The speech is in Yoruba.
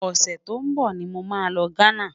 ọsẹ tó n bó ní mọ má ló ghánà